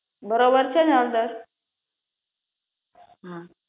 બરોબર છે ને હળદર હા